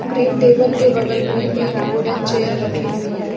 Green table के बगल में एक वुडन चेयर रखी हुई है।